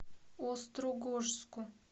острогожску